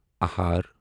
اہر